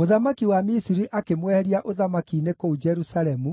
Mũthamaki wa Misiri akĩmweheria ũthamaki-inĩ kũu Jerusalemu